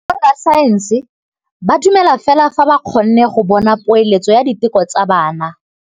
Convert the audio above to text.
Borra saense ba dumela fela fa ba kgonne go bona poeletsô ya diteko tsa bone.